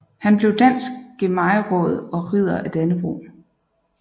Han blev dansk gehejmeråd og Ridder af Dannebrog